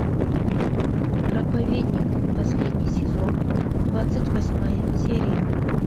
проповедник последний сезон двадцать восьмая серия